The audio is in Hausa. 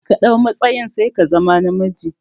Ka ɗau matsayin sai ka zama na miji